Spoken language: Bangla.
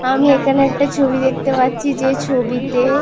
আমি এখানে একটা ছবি দেখতে পাচ্ছি যে ছবিতে--